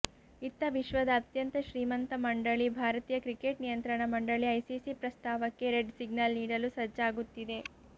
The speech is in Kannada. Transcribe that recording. ಇತ್ತ ವಿಶ್ವದ ಅತ್ಯಂತ ಶ್ರೀಮಂತ ಮಂಡಳಿ ಭಾರತೀಯ ಕ್ರಿಕೆಟ್ ನಿಯಂತ್ರಣ ಮಂಡಳಿ ಐಸಿಸಿ ಪ್ರಸ್ತಾವಕ್ಕೆ ರೆಡ್ ಸಿಗ್ನಲ್ ನೀಡಲು ಸಜ್ಜಾಗುತ್ತಿದೆ